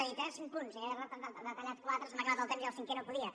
he dit eh cinc punts i n’he detallat quatre se m’ha acabat el temps i el cinquè no podia